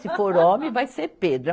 Se for homem, vai ser Pedro.